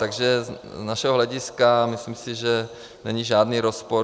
Takže z našeho hlediska, myslím si, že není žádný rozpor.